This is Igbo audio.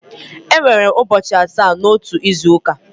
Enwere ụbọchị asaa n'otu izu ụka.